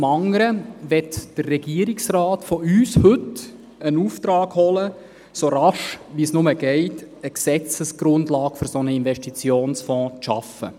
Zum anderen möchte der Regierungsrat heute bei uns einen Auftrag abholen, so rasch wie möglich eine Gesetzesgrundlage für einen solchen Investitionsfonds zu schaffen.